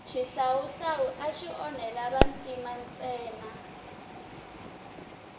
xihlawuhlawu axi onhela vantima ntsena